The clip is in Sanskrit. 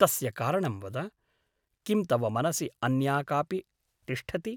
तस्य कारणं वद । किं तव मनसि अन्या कापि तिष्ठति ?